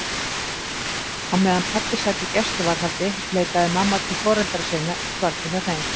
Á meðan pabbi sat í gæsluvarðhaldi leitaði mamma til foreldra sinna og dvaldi hjá þeim.